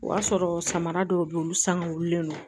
O y'a sɔrɔ samara dɔw bɛ yen olu sangawlen don